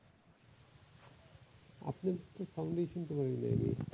আসলে কিন্তু sound ই শুনতে পারি নাই আমি।